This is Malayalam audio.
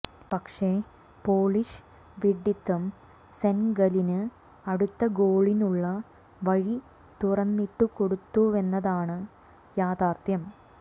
പക്ഷെ പോളിഷ് വിഢിത്തം സെനഗലിന് അടുത്ത ഗോളിനുള്ള വഴി തുറന്നിട്ടു കൊടുത്തുവെന്നതാണ് യാഥാർത്ഥ്യം